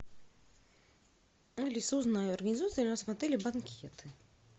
алиса узнай организуются ли у нас в отеле банкеты